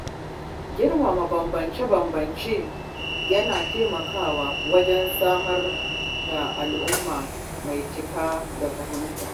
Girmama bambance-bambance yana taimakawa wajen samar da al’umma mai cike da fahimta.